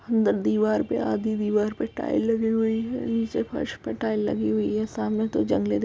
अंदर दीवार पे आधी दीवार पर टाइल लगी हुए हैं नीचे फर्श पर टाइल लगी हुई है सामने तो जंगले दिखाई --